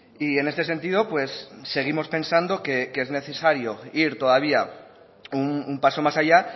y en este sentido seguimos pensando que es necesario ir todavía un paso más allá